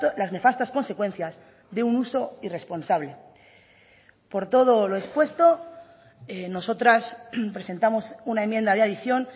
las nefastas consecuencias de un uso irresponsable por todo lo expuesto nosotras presentamos una enmienda de adición